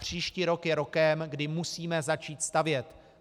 Příští rok je rokem, kdy musíme začít stavět.